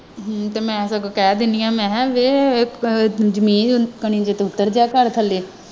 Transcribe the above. ਹਮ ਤੇ ਮੈਂ ਸਗੋਂ ਕਹਿ ਦਿੰਦੀ ਹਾ ਮੈਂ ਕਿਹਾ ਵੇ ਜਮੀਨ ਤੂੰ ਉੱਤਰ ਜਾਏ ਕਰ ਥੱਲੇ।